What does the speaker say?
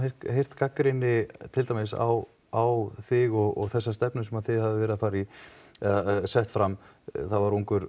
gagnrýni til dæmis á á þig og þessa stefnu sem þið hafið verið að fara í eða sett fram ungur